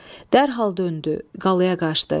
Dərhal döndü, qalaya qaçdı.